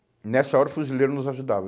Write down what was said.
E nessa hora o fuzileiro nos ajudava.